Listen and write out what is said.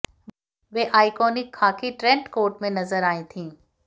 वे iconic खाकी trench coat में नजर आई थीं